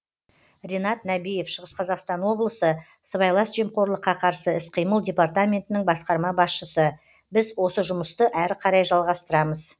ренат нәбиев шығыс қазақстан облысы сыбайлас жемқорлыққа қарсы іс қимыл департаментінің басқарма басшысы біз осы жұмысты әрі қарай жалғастырамыз